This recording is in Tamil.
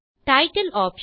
title option